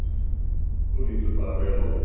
Þú lítur bara vel út!